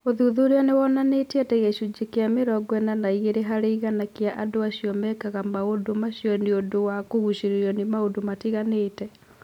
Ũthuthuria nĩ wonanĩtie atĩ gĩcunjĩ kĩa mĩrongo ĩna na igĩrĩ harĩ igana kĩa andũ acio mekaga maũndũ macio nĩ ũndũ wa kũgucĩrĩrio nĩ maũndũ matiganĩte.